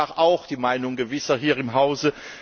Das war auch die Meinung Gewisser hier im Hause.